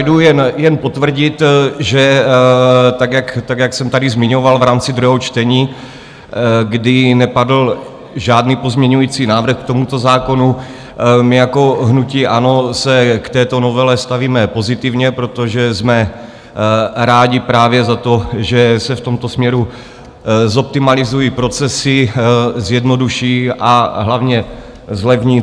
Jdu jen potvrdit, že tak, jak jsem tady zmiňoval v rámci druhého čtení, kdy nepadl žádný pozměňovací návrh k tomuto zákonu, my jako hnutí ANO se k této novele stavíme pozitivně, protože jsme rádi právě za to, že se v tomto směru zoptimalizují procesy, zjednoduší, a hlavně zlevní.